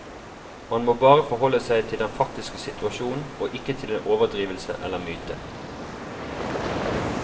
Man må bare forholde seg til den faktiske situasjonen og ikke til en overdrivelse eller myte.